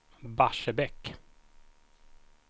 Barsebäck